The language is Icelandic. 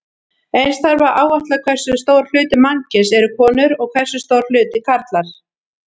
Eins þarf að áætla hversu stór hluti mannkyns eru konur og hversu stór hluti karlar.